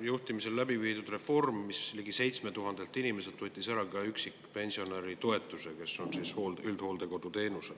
juhtimisel läbiviidud reform, millega ligi 7000 inimeselt, kes on üldhooldekodu teenusel, võeti ära üksi elava pensionäri toetus.